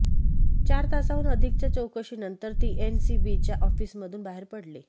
चार तासांहून अधिकच्या चौकशीनंतर ती एनसीबीच्या ऑफिसमधून बाहेर पडली